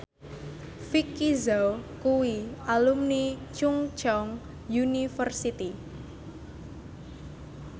Vicki Zao kuwi alumni Chungceong University